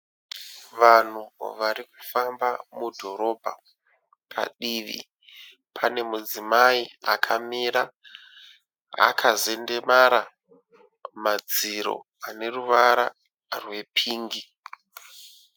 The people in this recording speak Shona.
Vanhu varikufamba mudhorobha. Padivi pane mudzimai akamira akazendemara madziro ane ruvara rwe pingi.